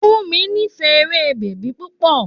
Fúnmi nífẹ̀ẹ́ eré bèbí púpọ̀.